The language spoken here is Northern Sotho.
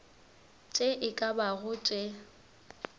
tše e ka bago tše